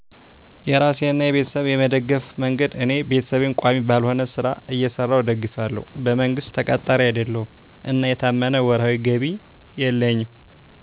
. የራሴንና የቤተሰብ የመደገፍ መንገድ እኔ ቤተሰቤን ቋሚ ባልሆነ ሥራ እየሰራሁ እደግፋለሁ። በመንግሥት ተቀጣሪ አይደለሁም እና የታመነ ወርሃዊ ገቢ የለኝም